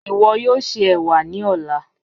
Iwọ yoo ṣe ewa ni ọla.